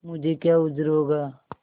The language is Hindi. मुझे क्या उज्र होगा